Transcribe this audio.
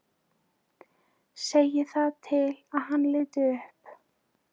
Segir það til að hann líti upp.